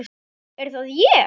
Er það ÉG??